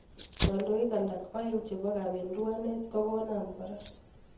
Kandoik alak aeng' chebo kabenduanet kokonam kora.